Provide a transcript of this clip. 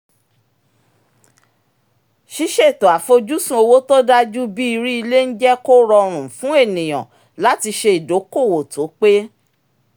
ṣíṣètò àfojúsùn owó tó dájú bíi rí ilé ń jẹ́ kó rọrùn fún ènìyàn láti ṣe ìdokoowó tó pé